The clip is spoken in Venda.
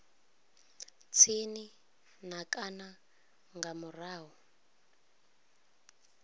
tsini na kana nga murahu